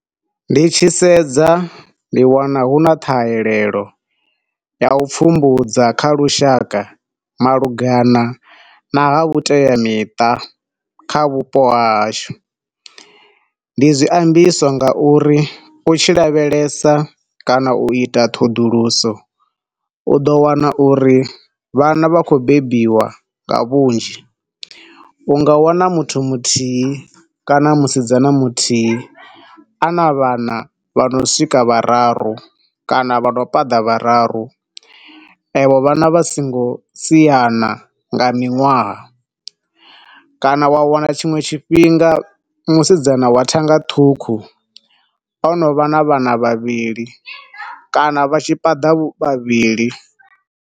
Ndi tshi sedza ndi wana hu na ṱhaelelo ya u pfumbudza kha lushaka malugana na ha vhuteamiṱa kha vhupo ha hashu. Ndi zwiambiswa nga uri u tshi lavhelesa kana u ita ṱhoḓuluso u ḓo wana uri vhana vha khou bebiwa nga vhunzhi. Unga wana muthu muthihi kana musidzana muthihi ana vhana vhano swika vhararu kana vha no paḓa vhararu avho vhana vha songo siyana nga miṅwaha, kana wa wana tshiṅwe tshifhinga musidzana wa thanga ṱhukhu ono vha na vhana vhavhili kana vha tshi paḓa vhavhili.